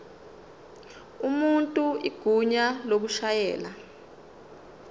umuntu igunya lokushayela